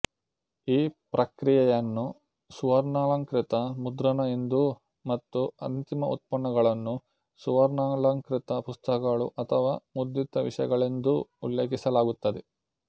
ಈ ಪ್ರಕ್ರಿಯೆಯನ್ನು ಸುವರ್ಣಾಲಂಕೃತ ಮುದ್ರಣ ಎಂದೂ ಮತ್ತು ಅಂತಿಮ ಉತ್ಪನ್ನಗಳನ್ನು ಸುವರ್ಣಾಲಂಕೃತ ಪುಸ್ತಕಗಳು ಅಥವಾ ಮುದ್ರಿತ ವಿಷಯಗಳೆಂದೂ ಉಲ್ಲೇಖಿಸಲಾಗುತ್ತದೆ